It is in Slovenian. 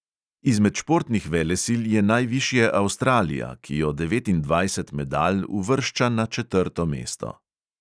Izmed športnih velesil je najvišje avstralija, ki jo devetindvajset medalj uvršča na četrto mesto.